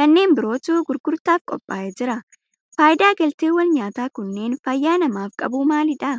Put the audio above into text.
kanneen birootu gurgurtaaf qophaa'ee jira. Faayidaa galteewwan nyaataa kunneen fayyaa namaaf qabu maalidha?